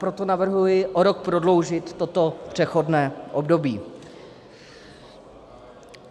Proto navrhuji o rok prodloužit toto přechodné období.